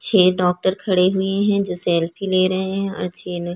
छ: डॉक्टर खड़े हुए हैं जो सेल्फी ले रहै हैं और छ: ने --